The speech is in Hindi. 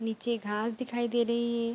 निचे घास दिखाई दे रही है।